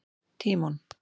Tímon